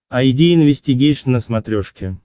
айди инвестигейшн на смотрешке